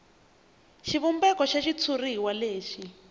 xivumbeko xa xitshuriwa lexi